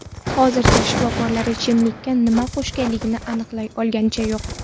Hozircha shifokorlar ichimlikka nima qo‘shilganini aniqlay olganicha yo‘q.